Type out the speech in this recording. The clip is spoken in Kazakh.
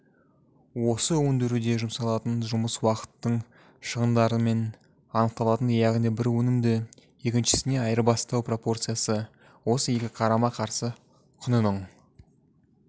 оны өндіруге жұмсалатын жұмыс уақытының шығындарымен анықталатын яғни бір өнімді екіншісіне айырбастау пропорциясы осы екі қарама-қарсы құнының